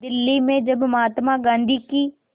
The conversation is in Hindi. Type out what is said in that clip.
दिल्ली में जब महात्मा गांधी की